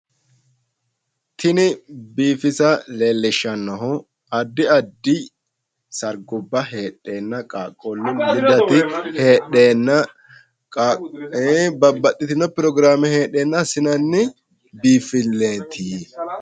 Tini biifisa leellishshannohu addi addi sargubba heedheenna, qaaqquullu lidati heedheenna babbaxitino pirogiraamme heedheenna assinanni biinfilleeti.